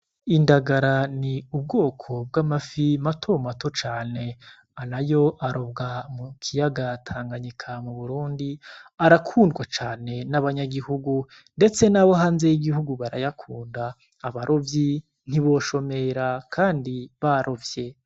Indagara ni ubwoko bw'amafi matomato cane ana yo arobwa mu kiyagatanganyi ka mu burundi arakundwa cane n'abanyagihugu, ndetse n'abo hanze y'igihugu barayakunda abarovyi ntiboshomera, kandi barovye.